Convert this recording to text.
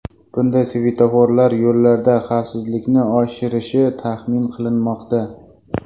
Bunday svetoforlar yo‘llarda xavfsizlikni oshirishi taxmin qilinmoqda.